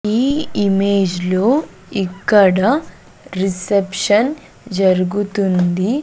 ఈ ఇమేజ్ లో ఇక్కడ రెసెప్షన్ జరుగుతుంది.